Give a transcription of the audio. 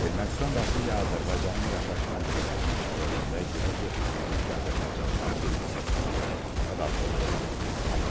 Ermənistan vaxtilə Azərbaycanın yaşayış məntəqələrini işğal edəndə girov götürdüyü mülki azərbaycanlıların bir hissəsini İrəvana apararaq orda saxlayıb.